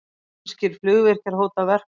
Finnskir flugvirkjar hóta verkfalli